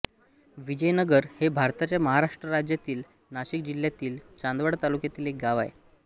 विजयनगर हे भारताच्या महाराष्ट्र राज्यातील नाशिक जिल्ह्यातील चांदवड तालुक्यातील एक गाव आहे